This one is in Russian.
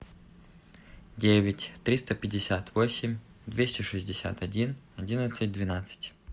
девять триста пятьдесят восемь двести шестьдесят один одиннадцать двенадцать